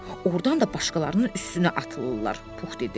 Ordan da başqalarının üstünə atılırlar, Pux dedi.